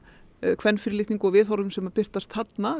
kvenfyrirlitningu og viðhorfum sem birtast þarna